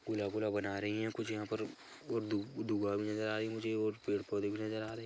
गोला गोला बना रही है कुछ यहाँ पर और दु-- दुगा भी नज़र आ रही है मुझे और पेड़-पोधे भी नजर आ रहे है।